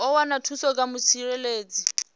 u wana thuso kha mutsireledzi